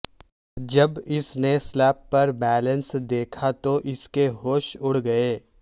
جب اس نے سلپ پر بیلنس دیکھا تو اس کے ہوش اڑ گئے